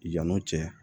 Yan'o cɛ